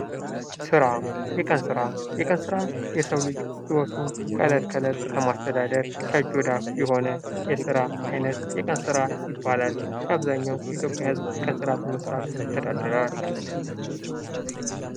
ስራ የቀን ስራ የቀን የሰው ልጅ ከእለት ከእለት ህይወቱን ለማስተዳደር ከእጅ ወደ እፍ የሆነ የቀን ስራ ይባላል። የአብዛኛው የኢትዮጵያ ህዝብ የቀን ስራ በመስራት ይተዳደራል።